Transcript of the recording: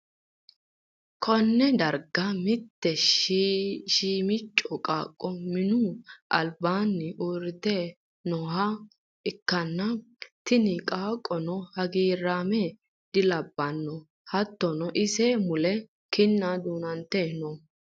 konne darga mitte shiimicco qaaqqo minu albaanni uurrite nooha ikkanna, tini qaaqqono hagiiraame dilabbanno, hattono ise mule kinna duunoonniti no.